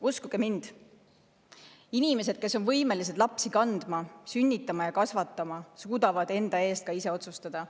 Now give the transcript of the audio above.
Uskuge mind, inimesed, kes on võimelised lapsi kandma, sünnitama ja kasvatama, suudavad enda eest ka ise otsustada.